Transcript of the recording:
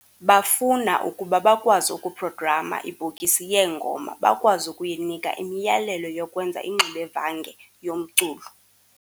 Bafuna ukuba bakwazi uku-"program"a ibhokisi yeengoma - bakwazi ukuyinika imiyalelo yokwenza ingxubevange yomculo.